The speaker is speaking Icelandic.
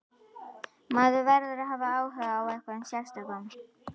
Maður verður að hafa áhuga á einhverjum sérstökum.